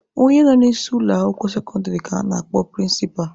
Onye nọ n'isi ụlọ akwụkwọ sekọndịrị ka a na-akpọ prịnsịpa.